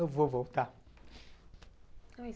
Eu vou voltar.